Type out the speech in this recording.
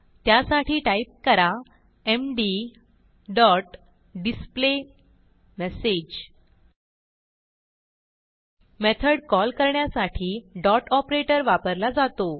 त्यासाठी टाईप करा MD dot display message method call करण्यासाठी डॉट ऑपरेटर वापरला जातो